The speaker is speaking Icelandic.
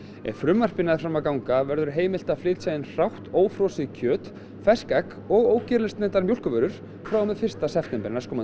ef frumvarpið nær fram að ganga verður heimilt að flytja inn hrátt ófrosið kjöt fersk egg og ógerilsneyddar mjólkurvörur frá og með fyrsta september næstkomandi